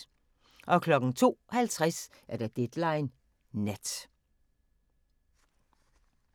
02:50: Deadline Nat